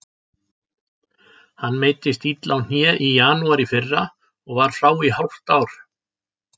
Hann meiddist illa á hné í janúar í fyrra og var frá í hálft ár.